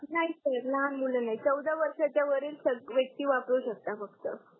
नाही सर लहान मुल नाही चौदा वर्षाच्या वरील व्यक्ती वापरू शकतात फक्त